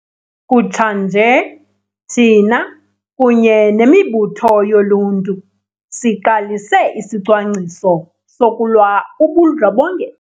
Kutshanje, thina, kunye nemibutho yoluntu, siqalise isicwangciso sokulwa ubundlobongela